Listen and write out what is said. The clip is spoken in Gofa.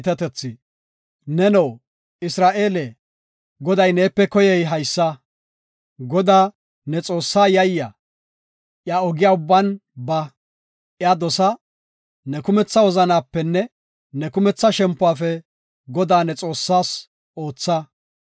Neno, Isra7eele, Goday neepe koyey haysa; Godaa, ne Xoossaa yayya; iya ogiya ubban ba; iya dosa; ne kumetha wozanapenne ne kumetha shempuwafe Godaa ne Xoossaas ootha.